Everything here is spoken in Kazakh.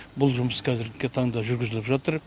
бұл жұмыс қазіргі таңда жүргізіліп жатыр